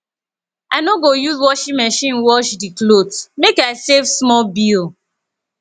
i no go use washing machine wash di cloth make i save small bill